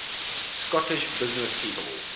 scottish businesspeople